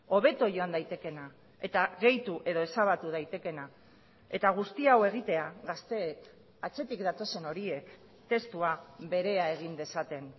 hobeto joan daitekeena eta gehitu edo ezabatu daitekeena eta guzti hau egitea gazteek atzetik datozen horiek testua berea egin dezaten